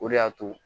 O de y'a to